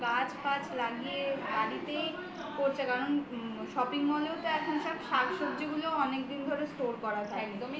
গাছ ফাজ লাগিয়ে বাড়িতেই করছে কারণ shopping mall এ তে ওতো এখন শাকসবজি গুলো অনেক দিন ধরে store করা থাকে